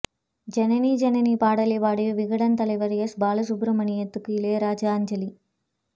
ஜனனி ஜனனி பாடலைப் பாடி விகடன் தலைவர் எஸ் பாலசுப்பிரமணியத்துக்கு இளையராஜா அஞ்சலி